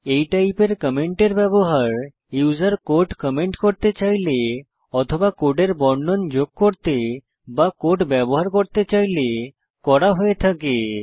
এই টাইপের কমেন্টের ব্যবহার ইউসার কোড কমেন্ট করতে চাইলে অথবা কোডের বর্ণন যোগ করতে বা কোড ব্যবহার করতে চাইলে করা হয়ে থাকে